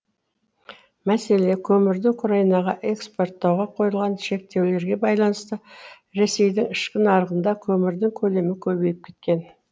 мәселе көмірді украинаға экспорттауға қойылған шектеулерге байланысты ресейдің ішкі нарығында көмірдің көлемі көбейіп кеткен